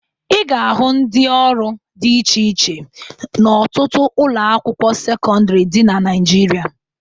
Ị ga-ahụ ndị ọrụ dị iche iche n'ọtụtụ ụlọakwụkwọ sekọndịrị dị na Naịjirịa